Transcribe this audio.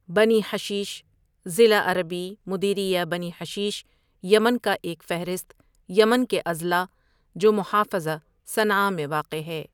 بنی حشیش ضلع عربی مديرية بني حشيش یمن کا ایک فہرست یمن کے اضلاع جو محافظہ صنعاء میں واقع ہے.